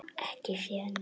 Ekki séð neitt.